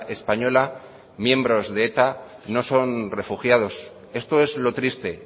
española miembros de eta no son refugiados esto es lo triste